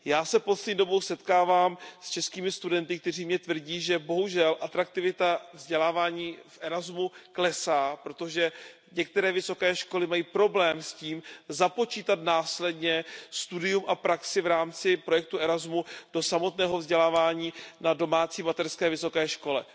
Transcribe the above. Já se poslední dobou setkávám s českými studenty, kteří mi tvrdí, že bohužel atraktivita vzdělávání v Erasmu klesá, protože některé vysoké školy mají problém s tím započítat následně studium a praxi v rámci projektu Erasmus do samotného vzdělávání na domácí mateřské vysoké škole.